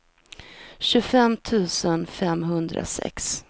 tjugofem tusen femhundrasex